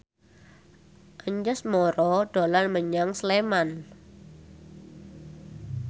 Anjasmara dolan menyang Sleman